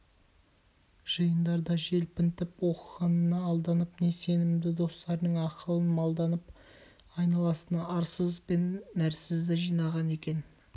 жиындарда желпінтіп оқығанына алданып не сенімді достарының ақылын малданып айналасына арсыз бен нәрсізді жинаған екен